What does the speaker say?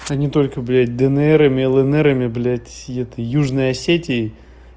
они только блять днрами лнрами блять этой южной осетией